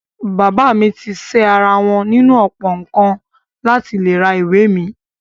Bàbá mi ti ṣẹ́ ara wọn nínú ọ̀pọ̀ nǹkan láti lè ra ìwé mi.